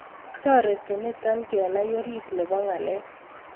Toreti nito kenai oriit nebo ng'alek